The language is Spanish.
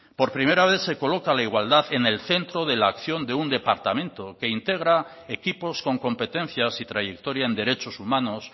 por primera vez se coloca la igualdad en el centro de la acción de un departamento que integra equipos con competencias y trayectoria en derechos humanos